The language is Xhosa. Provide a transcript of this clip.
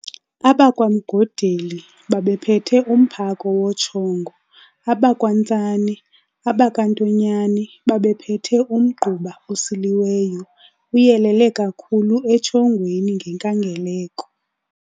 AbakwaMgodeli babephethe umphako wotshongo, abakwaNtsane, abakaNtonyane babephethe umgquba osiliweyo, uyelele kakhulu etshongweni ngenkangeleko.